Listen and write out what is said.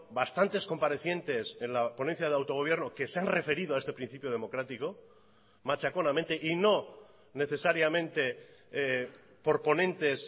bastantes comparecientes en la ponencia de autogobierno que se han referido a este principio democrático machaconamente y no necesariamente por ponentes